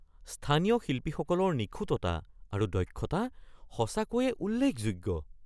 স্থানীয় শিল্পীসকলৰ নিখুঁততা আৰু দক্ষতা সঁচাকৈয়ে উল্লেখযোগ্য।